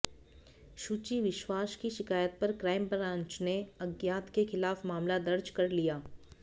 शुचि विश्वास की शिकायत पर क्राइम ब्रांच ने अज्ञात के खिलाफ मामला दर्ज कर लिया